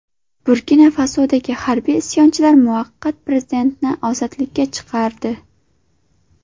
Burkina-Fasodagi harbiy isyonchilar muvaqqat prezidentni ozodlikka chiqardi.